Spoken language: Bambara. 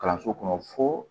Kalanso kɔnɔ fo